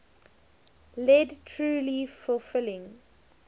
lead truly fulfilling